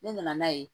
Ne nana n'a ye